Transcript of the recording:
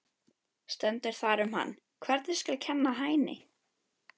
Stendur þar um hann: Hvernig skal kenna Hæni?